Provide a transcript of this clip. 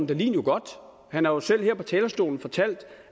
ved jo godt og han har jo selv her fra talerstolen fortalt